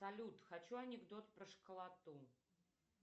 салют хочу анекдот про школоту